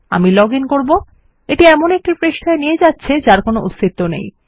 আমি log in করব এবং এটি এমন একটি পৃষ্ঠায় নিয়ে যাচ্ছে যার কোনো অস্তিত্ব নেই